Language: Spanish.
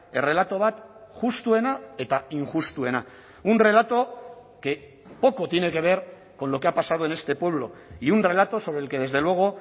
errelato bat justuena eta injustuena un relato que poco tiene que ver con lo que ha pasado en este pueblo y un relato sobre el que desde luego